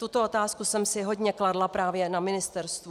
Tuto otázku jsem si hodně kladla právě na ministerstvu.